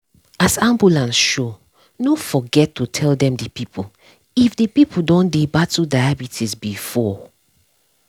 as ambulance show no forget to tell them the people if the person don dey battle diabetes before.